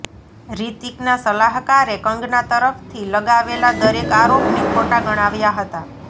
રીતિકના સલાહકારે કંગના તરફથી લગાવેલા દરેક આરોપને ખોટા ગણાવ્યા હતાં